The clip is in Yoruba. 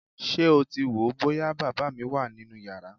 Ṣé o ti wò ó bóyá bàbá mi wà nínú yàrá?